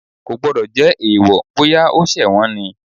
Kò gbọ́dọ̀ jẹ́ èèwọ̀, bóyá o ṣẹ̀ wọ́n ni.